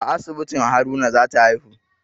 A asibitin Haruna za ta haihu